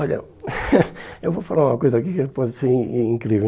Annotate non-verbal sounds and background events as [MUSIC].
Olha, [LAUGHS] eu vou falar uma coisa aqui que pode ser in in incrível.